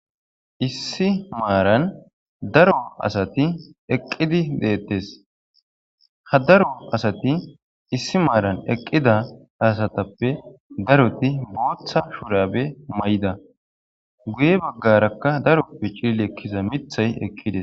Issi maaran daro asati eqqidi deetees; ha daro asati issi maaran eqqida asatappe daroti booththa shurabe mayida; guye baggaraka daroppe cilili ekkiza miththay eqqides.